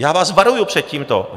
Já vás varuju před tímto.